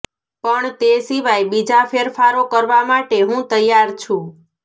પણ તે સિવાય બીજા ફેરફારો કરવા માટે હું તૈયાર છું